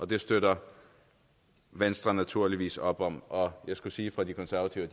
det støtter venstre naturligvis op om og jeg skulle sige fra de konservative